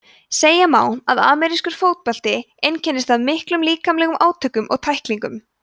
segja má að amerískur fótbolti einkennist af miklum líkamlegum átökum og tæklingum